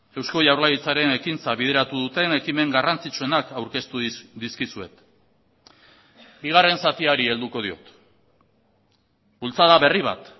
eusko jaurlaritzaren ekintza bideratu duten ekimen garrantzitsuenak aurkeztu dizkizuet bigarren zatiari helduko diot bultzada berri bat